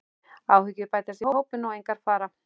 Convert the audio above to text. Áhyggjur bætast í hópinn og engar fara.